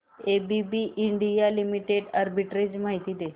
ABB India limited arbitrage माहिती दे